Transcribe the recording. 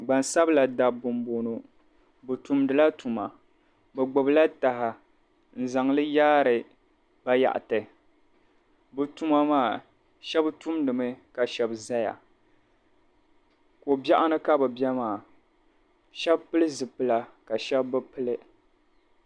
Gbansabla dabba m boŋɔ bɛ tumdila tuma bɛ gbibi la taha n zaŋli yaari bayaɣati bɛ tuma maa sheba tumdimi ka sheba zaya kobiɛɣuni ka bɛ be maa sheba pili zipila ka sheba bi pili.